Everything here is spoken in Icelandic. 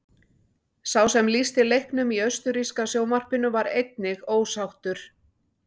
Sá sem lýsti leiknum í austurríska sjónvarpinu var einnig ósáttur.